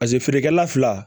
Paseke feerekɛla fila